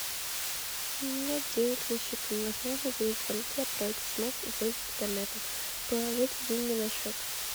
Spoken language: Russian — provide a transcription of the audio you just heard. нет денег на счету невозможно делать звонки отправить смс и пользоваться интернетом положите деньги на счет